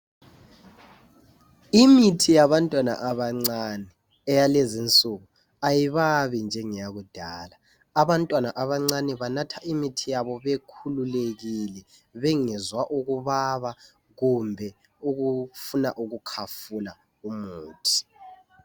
Imithi yabantwana abancane eyalezinsuku ayibabi njengeyakudala. Abantwana abancane banatha imithi yabo bekhululekile bengezwa ukubaba kumbe ukufuna ukukhafula umuthi.